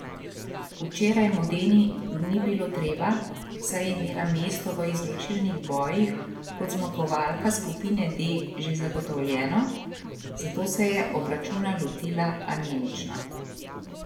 Včeraj Modeni ni bilo treba, saj je imela mesto v izločilnih bojih kot zmagovalka skupine D že zagotovljeno, zato se je obračuna lotila anemično.